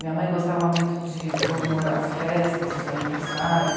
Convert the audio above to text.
Minha mãe gostava muito de comemorar as festas, os aniversários.